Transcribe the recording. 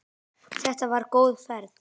Þetta var góð ferð.